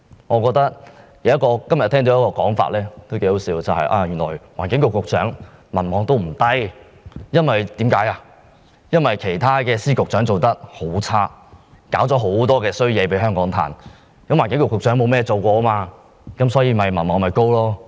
我聽到一種很可笑的說法，原來環境局局長的民望不算低，因為其他司局長表現很差，為香港帶來很多麻煩，而環境局局長沒有做過甚麼，所以民望高。